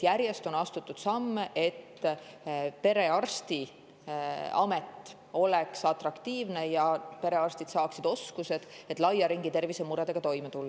Järjest on astutud samme, et perearsti amet oleks atraktiivne ja perearstid saaksid oskused, et laia ringi tervisemuredega toime tulla.